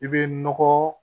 I bɛ nɔgɔ